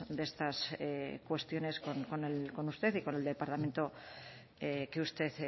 de estas cuestiones con usted y con el departamento que usted